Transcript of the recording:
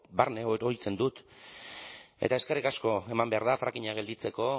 barne oroitzen dut eta eskerrik asko eman behar da frackinga gelditzeko